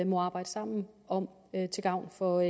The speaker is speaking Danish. må arbejde sammen om til gavn for